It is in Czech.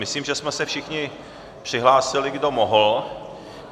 Myslím, že jsme se všichni přihlásili, kdo mohl.